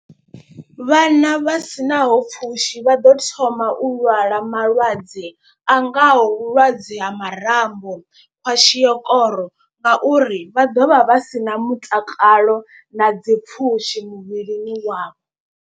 Vhana vha sinaho pfhushi vha ḓo thoma u lwala malwadze a ngaho vhulwadze ha marambo, kwashiokoro ngauri vha ḓovha vha si na mutakalo na dzi pfhushi muvhilini wavho.